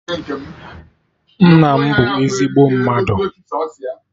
Nna m bụ ezigbo mmadụ